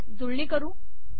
याची जुळणी करू